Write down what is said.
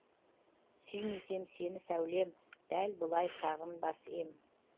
сүймесем сені сәулем дәл бұлай сағынбас ем